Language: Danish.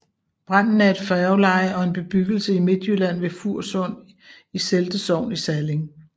Branden er et færgeleje og en bebyggelse i Midtjylland ved Fursund i Selde Sogn i Salling